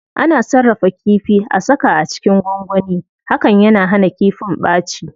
Ana sarrafa kifi,a saka a cikin gwangwani, hakan yana hana kifin ɓaci.